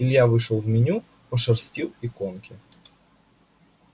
илья вышел в меню пошерстил иконки